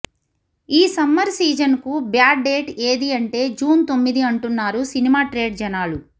ఈ summer season కు bad date ఏదీ అంటే జూన్ తొమ్మిది అంటున్నారు సినిమా ట్రేడ్ జనాలు